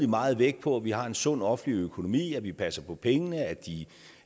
meget vægt på at vi har en sund offentlig økonomi at vi passer på pengene